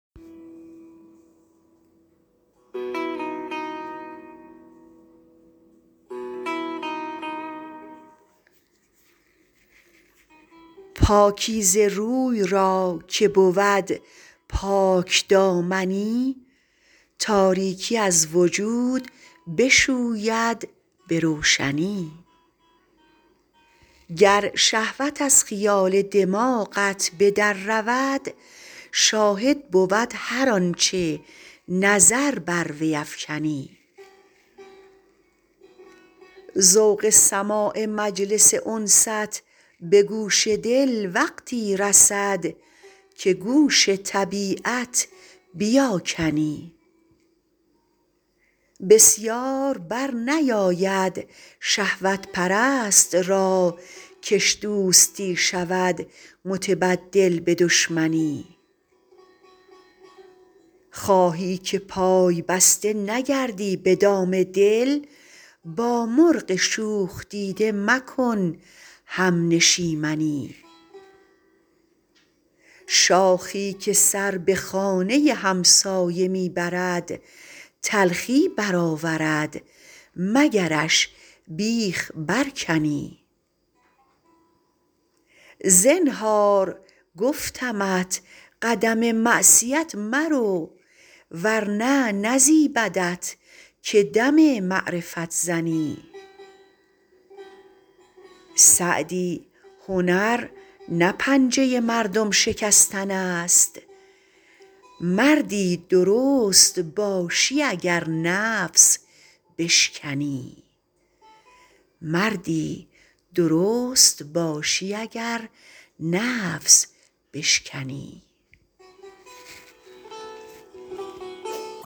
پاکیزه روی را که بود پاکدامنی تاریکی از وجود بشوید به روشنی گر شهوت از خیال دماغت به در رود شاهد بود هر آنچه نظر بر وی افکنی ذوق سماع مجلس انست به گوش دل وقتی رسد که گوش طبیعت بیاکنی بسیار بر نیاید شهوت پرست را کش دوستی شود متبدل به دشمنی خواهی که پای بسته نگردی به دام دل با مرغ شوخ دیده مکن همنشیمنی شاخی که سر به خانه همسایه می برد تلخی برآورد مگرش بیخ برکنی زنهار گفتمت قدم معصیت مرو ورنه نزیبدت که دم معرفت زنی سعدی هنر نه پنجه مردم شکستن است مردی درست باشی اگر نفس بشکنی